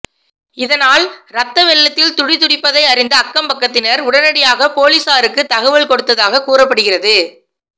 இதனால் ரத்த வெள்ளத்தில் துடி துடிப்பதை அறிந்த அக்கம்பக்கத்தினர் உடனடியாக பொலிசாருக்கு தகவல் கொடுத்ததாக கூறப்படுகிறது